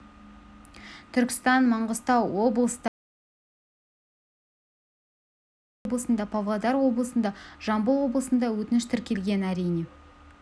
түркістан маңғыстау облыстарында солтүстік қазақстан облысында атырау облысында павлодар облысында жамбыл облысында өтініш тіркелген әрине